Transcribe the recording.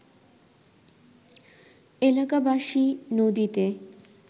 এলাকাবাসী নদীতে